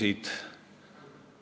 Hea ettekandja!